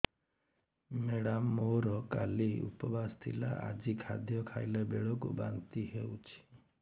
madam ମୋର କାଲି ଉପବାସ ଥିଲା ଆଜି ଖାଦ୍ୟ ଖାଇଲା ବେଳକୁ ବାନ୍ତି ହେଊଛି